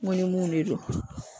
Ŋo ni mun de don